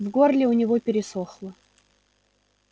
в горле у него пересохло